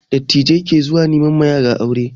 Dattijai ke zuwa nema wa yara aure